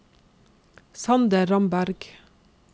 Sander Ramberg